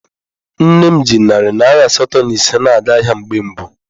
Nne m ji narị naira asatọ na ise na-aga ahịa mgbe mbụ.